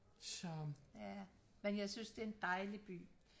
så ja men jeg synes det er en dejlig by